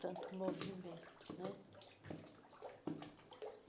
tanto movimento, né?